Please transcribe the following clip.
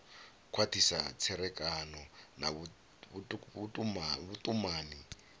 khwathisa tserekano na vhutumani ya